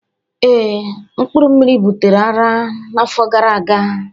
Ee, mpkuru mmiri butere ara na afo gara aga